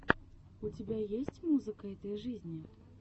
у тебя есть музыка этой жизни